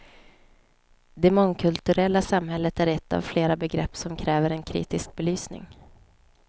Det mångkulturella samhället är ett av flera begrepp som kräver en kritisk belysning.